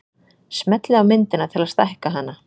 smellið á myndina til að stækka hana